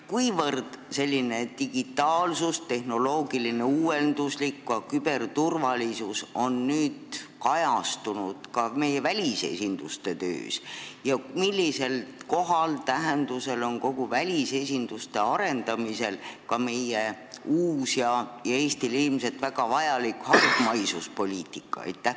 Kuivõrd selline digitaalsus, tehnoloogiline uuenduslikkus, ka küberturvalisus on kajastunud meie välisesinduste töös ja millisel kohal ja millise tähendusega on välisesinduste arendamisel ka meie uus ja Eestile ilmselt väga vajalik hargmaisuspoliitika?